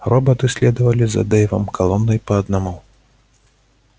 роботы следовали за дейвом колонной по одному